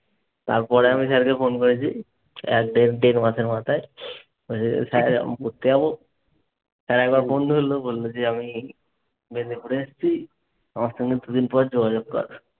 তারপর আমি স্যারকে ফোন করেছি! এক দেড় দেড় মাসের মাথায়! স্যার পড়তে যাবো। স্যার একবার ফোন ধরলো! বলল যে, আমি মেদিনিপুরে এসেছি! আমার সঙ্গে দুদিন পরে যোগাযোগ কর।